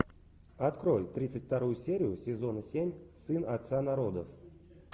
открой тридцать вторую серию сезона семь сын отца народов